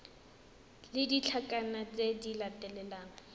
le ditlankana tse di latelang